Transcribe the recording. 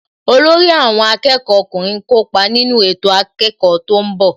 Olórí àwọn akẹ́kọ̀ọ́ ọkùnrin ń kópa nínú ètò akẹ́kọ̀ọ́ tó ń bọ̀